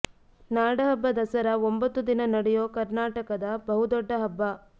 ನಾಡ ಹಬ್ಬ ದಸರಾ ಒಂಬತ್ತು ದಿನ ನಡೆಯೋ ಕರ್ನಾಟಕದ ಬಹುದೊಡ್ಡ ಹಬ್ಬ